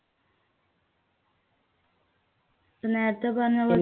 നേരത്തെ പറഞ്ഞ പോ